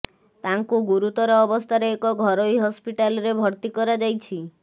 ତାଙ୍କୁ ଗୁରୁତର ଅବସ୍ଥାରେ ଏକ ଘରୋଇ ହସ୍ପିଟାଲରେ ଭର୍ତ୍ତିି କରାଯାଇଛି